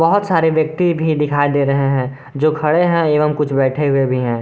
बहुत सारे व्यक्ति भी दिखाई दे रहे हैं जो खड़े हैं एवं कुछ बैठे हुए भी हैं।